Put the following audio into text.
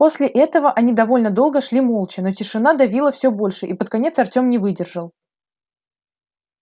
после этого они довольно долго шли молча но тишина давила всё больше и под конец артём не выдержал